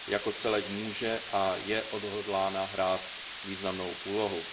Jako celek může a je odhodlána hrát významnou úlohu.